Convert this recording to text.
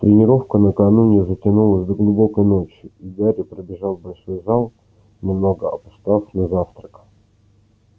тренировка накануне затянулась до глубокой ночи и гарри пробежал в большой зал немного опоздав на завтрак